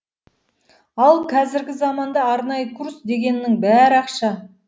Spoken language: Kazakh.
ал қазіргі заманда арнайы курс дегеннің бәрі ақша